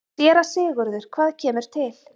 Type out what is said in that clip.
SÉRA SIGURÐUR: Hvað kemur til?